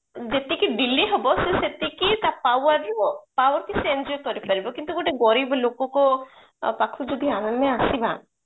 ଯେତିକି delay ହବ ସେ ସେତିକି ତା power power କୁ ସେ enjoy କରିପାରିବ କିନ୍ତୁ ଗୋଟେ ଗରିବ ଲୋକକୁ ପାଖକୁ ଯଦି ଆମେ ଆସିବା